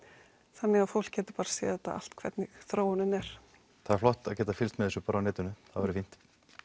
þannig að fólk getur bara séð þetta allt hvernig þróunin er það er flott að geta fylgst með þessu bara á netinu það væri fínt